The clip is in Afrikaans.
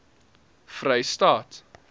vrystaat